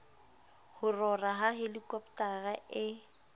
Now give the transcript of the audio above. ho rora ha helikopotara e